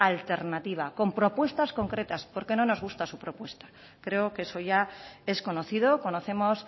alternativa con propuestas concretas porque no nos gusta su propuesta creo que eso ya es conocido conocemos